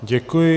Děkuji.